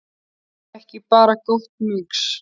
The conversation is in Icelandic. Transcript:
Er það ekki bara gott mix?